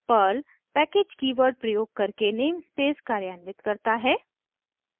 Perl package keyword प्रयोग करके namespace कार्यान्वित करता है